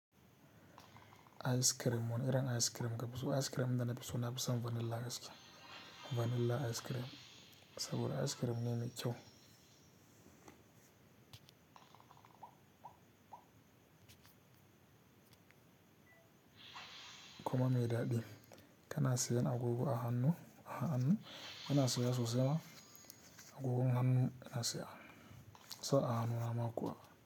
Ice cream wanne irin ice cream kafi so? Ice cream da nafi so nafi son vanilla gaskiya. Vanilla ice cream saboda ice cream ne mai ƙyau kuma mai daɗi. Kana sayan agogo a hannu, a hannu ina saya sosai ma agogon hannu ina siya, sa a hannuna ma kuwa.